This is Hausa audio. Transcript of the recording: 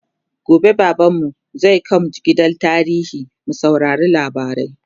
gobe baban mu zai kaimj gidan tarihi mu saurari labarai